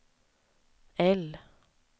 L